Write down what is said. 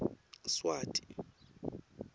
swati